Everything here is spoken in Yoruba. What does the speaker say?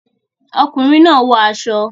Ọkùnrin náà wọ aṣọ